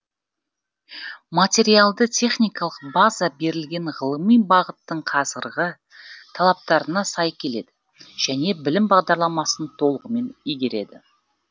материалды техникалық база берілген ғылыми бағыттың қазіргі талаптарына сай келеді және білім бағдарламасын толығымен игереді